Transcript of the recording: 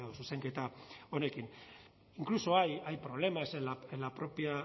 zuzenketa honekin incluso hay problemas en la propia